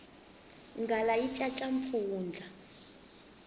nghala yi caca mpfundla